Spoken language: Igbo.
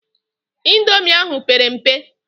Indomi ahụ pere mpe.